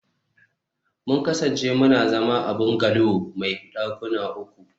mun kasance muna zama a bungalow mai dakuna uku